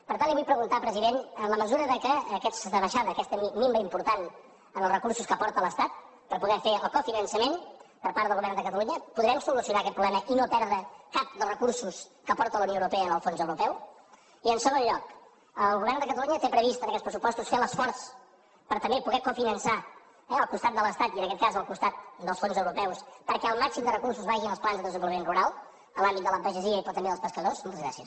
per tant li vull preguntar president en la mesura en què aquesta baixada aquesta minva important en els recursos que aporta l’estat per poder fer el cofinançament per part del govern de catalunya podrem solucionar aquest problema i no perdre cap dels recursos que aporta la unió europea en el fons europeu i en segon lloc el govern de catalunya té previst en aquests pressupostos fer l’esforç per també poder cofinançar al costat de l’estat i en aquest cas al costat dels fons europeus perquè el màxim de recursos vagin als plans de desenvolupament rural a l’àmbit de la pagesia però també dels pescadors moltes gràcies